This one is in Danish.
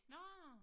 Nåh